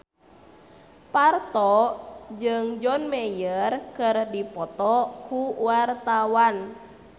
Parto jeung John Mayer keur dipoto ku wartawan